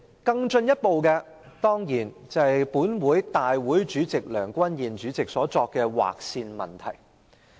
更進一步的問題，當然是立法會主席梁君彥議員所作的"劃線"決定。